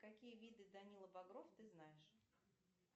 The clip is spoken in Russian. какие виды данила багров ты знаешь